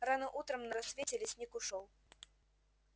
рано утром на рассвете лесник ушёл